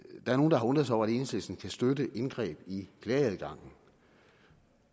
er nogle der har undret sig over at enhedslisten kan støtte indgreb i klageadgangen